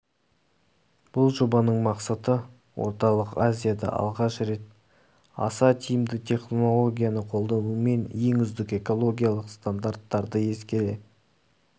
бұл жобаның мақсаты орталық азияда алғаш рет аса тиімді технологияны қолданумен ең үздік экологиялық стандарттарды ескере